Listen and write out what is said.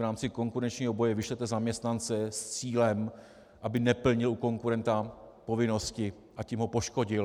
V rámci konkurenčního boje vyšle zaměstnance s cílem, aby neplnil u konkurenta povinnosti, a tím ho poškodil.